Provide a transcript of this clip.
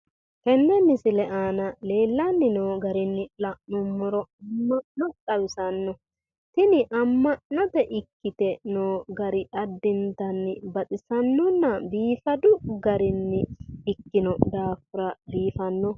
tenne misile aana leellanni noo garinni la'nummoro amma'no xawisanno tini amma'note ikkite noo garri addintanni baxisannonna biifadu garinni ikkino dafira biifanno.